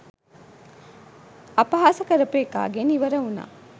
අපහාස කරපු එකාගෙන් ඉවර වුනා